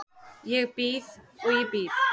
Ég bíð og ég bíð.